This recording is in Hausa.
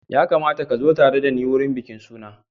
Ya kamata ka zo tare da ni wurin bikin suna.